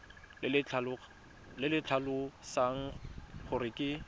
le le tlhalosang gore ke